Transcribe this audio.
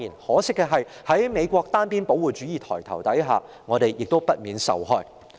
可惜，在美國單邊保護主義抬頭下，香港不免受害。